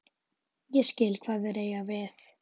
Ég skil hvað þeir eiga við.